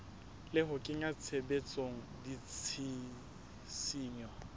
le ho kenya tshebetsong ditshisinyo